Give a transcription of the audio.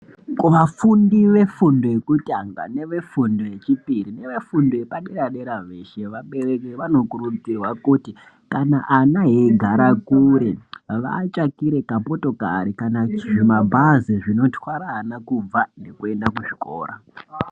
Kuvafundi vefundo yekutanga nevefundo yechipiri nevefundo yepadera dera veshe, vabereki vanokurudzirwa kuti kana ana eigare kure vavatsvakire kamotokari kana zvimabhazi zvinotwara ana kubva nekuenda kuzvikora.